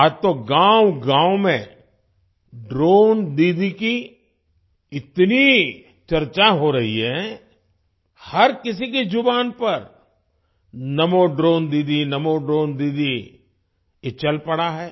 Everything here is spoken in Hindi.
आज तो गाँवगाँव में ड्रोन दीदी की इतनी चर्चा हो रही है हर किसी की जुबान पर नमो ड्रोन दीदी नमो ड्रोन दीदी ये चल पड़ा है